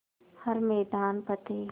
हर मैदान फ़तेह